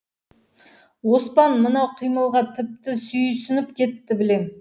оспан мынау қимылға тіпті сүйсініп кетті білем